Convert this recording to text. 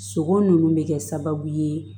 Sogo nunnu bɛ kɛ sababu ye